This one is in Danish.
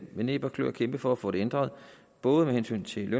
med næb og kløer kæmpe for at få det ændret både med hensyn til